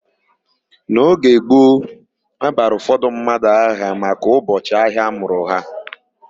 N'oge gboo, a bara ụfọdụ mmadụ aha maka ụbọchị ahịa amụrụ ha.